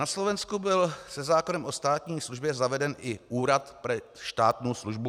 Na Slovensku byl se zákonem o státní službě zaveden i Úrad pre štátnu službu.